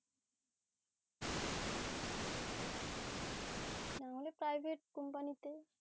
নাহলে private company তে